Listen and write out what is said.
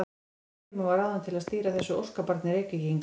Steingrímur var ráðinn til að stýra þessu óskabarni Reykvíkinga.